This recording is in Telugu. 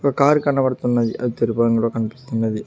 ఒక కారు కనబడుతున్నది అది తెలుపు రంగులో కనిపిస్తున్నది.